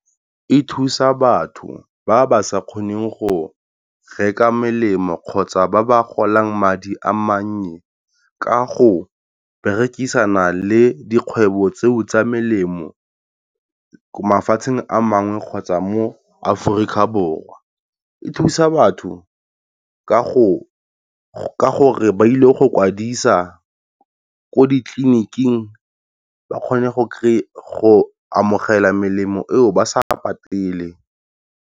E thusa batho ba ba sa kgoneng go reka melemo kgotsa ba ba golang madi a mannye, ka go berekisana le dikgwebo tseo tsa melemo ko mafatsheng a mangwe kgotsa mo Aforika Borwa. E thusa batho ka go ka gore ba ile go kwadisa ko ditleliniking ba kgone go go amogela melemo eo ba sa patele.